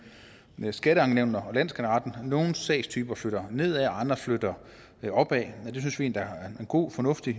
skatteankenævnene og landsskatteretten nogle sagstyper flytter nedad og andre flytter opad og det synes vi der er god fornuft i